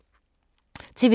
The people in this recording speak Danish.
TV 2